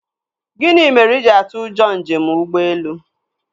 Gịnị mere i jiri atụ ụjọ njem ụgbọelu?